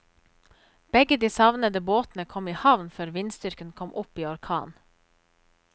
Begge de savnede båtene kom i havn før vindstyrken kom opp i orkan.